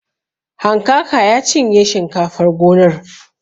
Hankaka ya cinye shinkafar gonar.